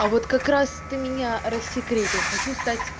а вот как раз ты меня рассекретил хочу стать